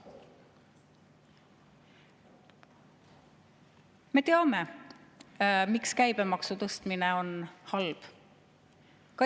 Me teame, miks käibemaksu tõstmine on halb.